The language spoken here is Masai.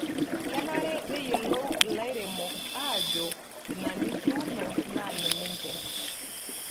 Kenare neyiolou lairemok ajo ina nituuno na ninye inkes.